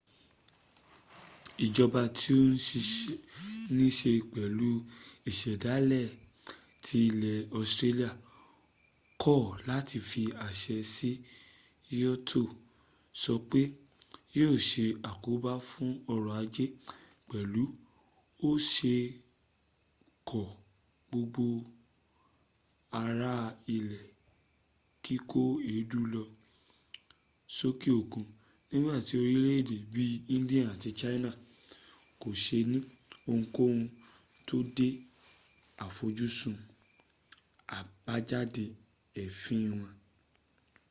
ìjọba tí ó nííse pẹ̀lú ìsẹ̀dálẹ̀ ti ilẹ̀ australia kọ̀ láti fi àṣẹ si kyoto sọ pé yíò se àkóbá fún ọrọ̀ ajé pẹ̀lú bí ó se kó gbogbo ara lé kíkó èédú lọ sókè òkun nígbàtí orílẹ̀èdè bí i india àti china kò se ní ohunkóhun tó de àfojúsùn àgbéjáde èéfín wọn